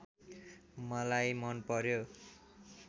मलाई मन पर्‍यो